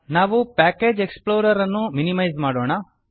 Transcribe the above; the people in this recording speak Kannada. ನಾವು ಪ್ಯಾಕೇಜ್ ಎಕ್ಸ್ಪ್ಲೋರರ್ ಅನ್ನು ಮಿನಿಮೈಸ್ ಮಾಡೋಣ